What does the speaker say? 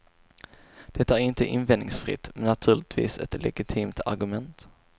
Det är inte invändningsfritt, men naturligtvis ett legitimt argument.